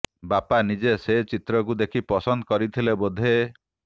ବାପା ନିଜେ ସେ ଚିତ୍ରକୁ ଦେଖି ପସନ୍ଦ କରିଥିଲେ ବୋଧେ